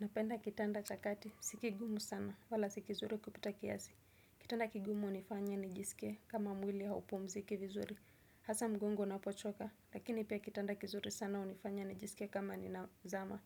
Napenda kitanda cha kati, si kigumu sana, wala si kizuri kupita kiasi. Kitanda kigumu hunifanya nijisikie kama mwili haupumziki vizuri. Hasaa mgongo unapochoka, lakini pia kitanda kizuri sana hunifanya nijisikie kama ninazama,